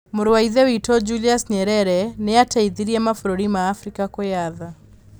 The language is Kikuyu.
Mũrũ wa Ithe witũ Julius Nyerere nĩ aateithirie mabũrũri ma Abirika kwĩyatha.